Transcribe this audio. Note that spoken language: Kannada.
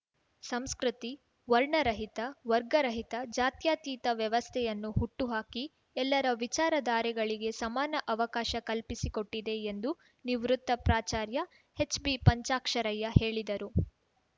ಸಂಸ್ಕೃತಿ ವರ್ಣರಹಿತ ವರ್ಗರಹಿತ ಜಾತ್ಯತೀತ ವ್ಯವಸ್ಥೆಯನ್ನು ಹುಟ್ಟುಹಾಕಿ ಎಲ್ಲರ ವಿಚಾರಧಾರೆಗಳಿಗೆ ಸಮಾನ ಅವಕಾಶ ಕಲ್ಪಿಸಿಕೊಟ್ಟಿದೆ ಎಂದು ನಿವೃತ್ತ ಪ್ರಾಚಾರ್ಯ ಹೆಚ್‌ಬಿಪಂಚಾಕ್ಷರಯ್ಯ ಹೇಳಿದರು